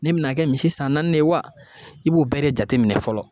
Ne bina kɛ misi san naani de ye wa i b'o bɛɛ de jateminɛ fɔlɔ